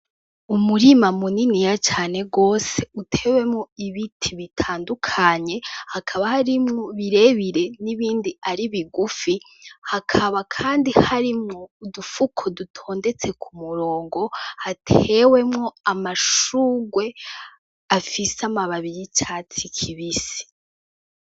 Umurima muniniya cane gose utewemwo ibiti bitandukanye, hakaba harimwo birebire nibindi ari bigufi hakaba kandi harimwo udufuko dutondetse ku murongo hatewemwo amashurwe afise amababi y'icatsi kibisi.